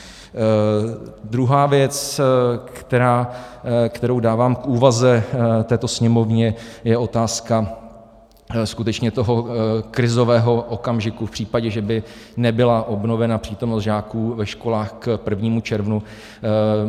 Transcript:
Druhá věc, kterou dávám k úvaze této Sněmovně, je otázka skutečně toho krizového okamžiku v případě, že by nebyla obnovena přítomnost žáků ve školách k 1. červnu.